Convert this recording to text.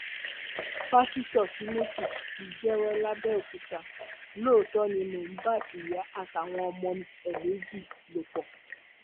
pásítọ timothy ti jẹwọ làbẹòkúta lóòótọ ni mò ń bá ìyá àtàwọn ọmọ ẹ méjì lò pọ